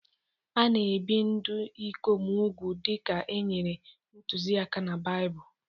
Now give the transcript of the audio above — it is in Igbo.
A na-ebi ndị ikom úgwù dị ka e nyere ntụziaka na Baịbụl.